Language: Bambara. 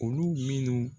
Olu minnu